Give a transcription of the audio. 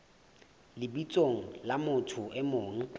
lebitsong la motho e mong